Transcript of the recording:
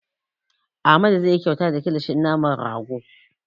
Amadu zai yi kyauta da kilishin naman rago.